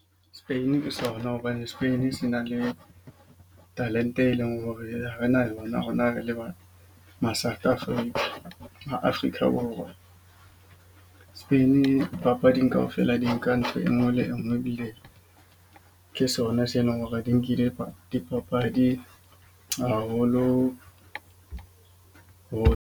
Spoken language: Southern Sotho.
Spain ke sona. Hobane Spain se na le talent-e e leng hore ha re na yona, rona re le ba maSouth Africa maAfrika Borwa. Spain-i papading kaofela di nka ntho e nngwe le e nngwe. Ebile ke sona sena hore di nkile dipapadi haholo ho.